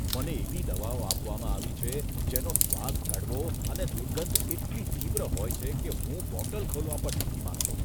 મને એવી દવાઓ આપવામાં આવી છે જેનો સ્વાદ કડવો અને દુર્ગંધ એટલી તીવ્ર હોય છે કે હું બોટલ ખોલવા પણ નથી માંગતો.